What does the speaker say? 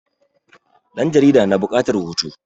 ɗan jarida na bukatar hoto